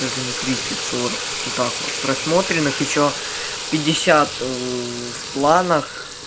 даже не тридцать сорок вот так вот просмотренных ещё пятьдесят в планах